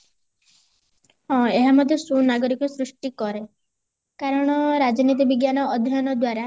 ହଁ ଏହା ମଧ୍ୟ ସୁନାଗରିକ ସୃଷ୍ଟି କରେ କାରଣ ରାଜନୀତି ବିଜ୍ଞାନ ଅଧ୍ୟୟନ ଦ୍ଵାରା